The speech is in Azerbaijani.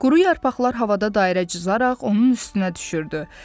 Quru yarpaqlar havada dairə cızaaraq onun üstünə düşürdü.